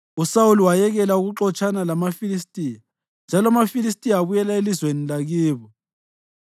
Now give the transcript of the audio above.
USawuli wayekela ukuxotshana lamaFilistiya, njalo amaFilistiya abuyela elizweni lakibo.